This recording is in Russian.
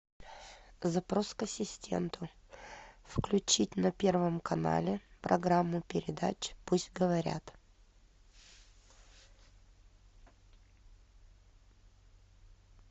запрос к ассистенту включить на первом канале программу передач пусть говорят